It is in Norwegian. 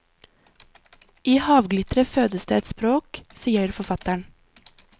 I havglitteret fødes det et språk, sier forfatteren.